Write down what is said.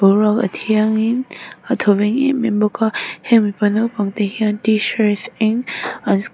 boruak a thiangin a thawveng em em bawk a he mipa naupang te hian t shirt eng an --